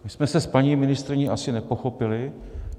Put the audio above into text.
My jsme se s paní ministryní asi nepochopili.